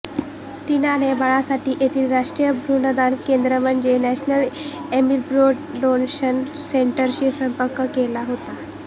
टीनाने बाळासाठी येथील राष्ट्रीय भ्रृणदान केंद्र म्हणजे नॅशनल एम्ब्रियो डोनेशन सेंटरशी संपर्क केला होता